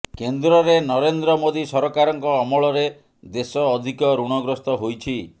କେନ୍ଦ୍ରରେ ନରେନ୍ଦ୍ର ମୋଦି ସରକାରଙ୍କ ଅମଳରେ ଦେଶ ଅଧିକ ଋଣଗ୍ରସ୍ତ ହୋଇଛି